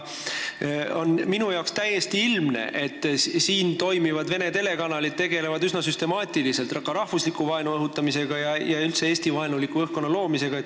Minu jaoks on aga täiesti ilmne see, et siinsed vene telekanalid tegelevad üsna süstemaatiliselt rahvusliku vaenu õhutamisega, üldse Eesti-vaenuliku õhkkonna loomisega.